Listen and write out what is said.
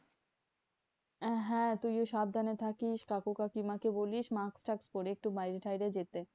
হ্যাঁ তুইও সাবধানে থাকিস কাকু কাকিমাকে বলিস mask টাস্ক পরে একটু বাইরে টাইরে যেতে।